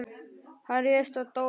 Hann réðst á Dóra.